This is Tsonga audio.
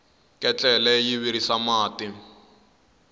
ketlele yi virisa mati